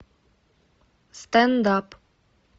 стенд ап